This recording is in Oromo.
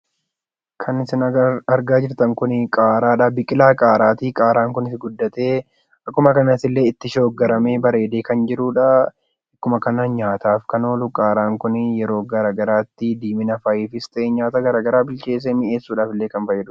Kan isin argaa jirtan Kun biqilaa qaaraadha. Qaaraan Kunis guddatee akkasumas itti shoggoramee bareedee kan jirudha. Nyaataaf kan oolu qaaraan Kun diiminaafis ta'e nyaata garagaraaf kan ooludha.